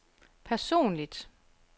personligt